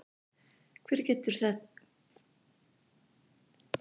Hvert getur þetta leitt ykkur?